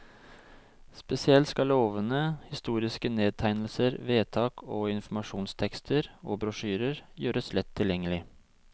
Spesielt skal lovene, historiske nedtegnelser, vedtak og informasjonstekster og brosjyrer gjøres lett tilgjengelig.